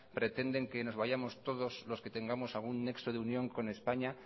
pretenden que nos vayamos todos los que tenemos algún nexo de unión con españa